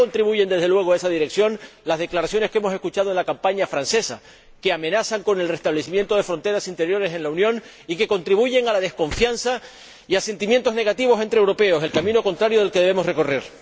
No contribuyen, desde luego, en esa dirección las declaraciones que hemos escuchado en la campaña francesa, que amenazan con el restablecimiento de fronteras interiores en la Unión y que contribuyen a la desconfianza y a sentimientos negativos entre europeos, el camino contrario del que debemos recorrer.